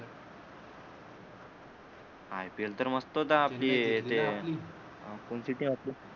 I P L तर मस्तच आहे आपली इथे आपण जिथे असू